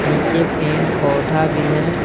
नीचे पेड़ पौधा भी है।